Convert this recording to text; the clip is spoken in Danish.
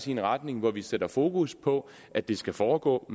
i en retning hvor vi sætter fokus på at det skal foregå